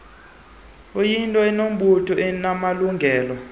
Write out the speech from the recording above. iyinto enobuntu enamalungelo